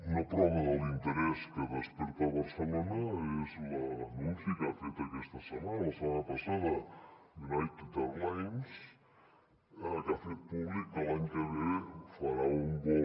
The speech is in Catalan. una prova de l’interès que desperta barcelona és l’anunci que ha fet aquesta setmana la setmana passada united airlines que ha fet públic que l’any que ve farà un vol